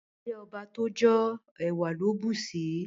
Ile ọba to jo, ẹwa lo busi